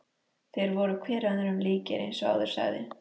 Þeir voru hver öðrum líkir eins og áður sagði.